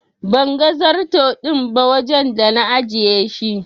Ban gan zarto din ba wajen da na ajiye shi.